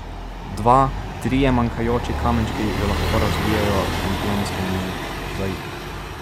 Dva, trije manjkajoči kamenčki že lahko razbijejo šampionski mozaik.